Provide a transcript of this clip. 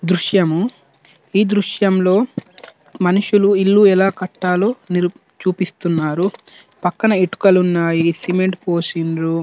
దుర్శము ఈ దుర్షం లో మనుషుల్లు ఇల్లు ఎలా కతలూ చుపిస్తునారు పక్క్కన ఇటుకల్లు వున్నాయ్ సిమెంట్ పోసినురు.